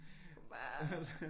Kunne bare